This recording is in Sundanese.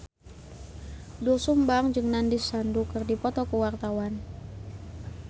Doel Sumbang jeung Nandish Sandhu keur dipoto ku wartawan